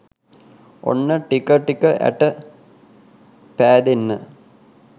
ඔන්න ටික ටික ඇට පෑදෙන්න